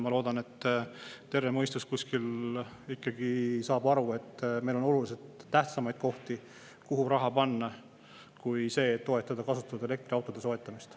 Ma loodan, et terve mõistus kuskil ikkagi saab aru, et meil on oluliselt tähtsamaid kohti, kuhu raha panna, kui see, et toetada kasutatud elektriautode soetamist.